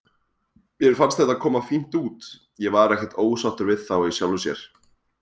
Mér fannst þetta koma fínt út, ég var ekkert ósáttur við þá í sjálfu sér.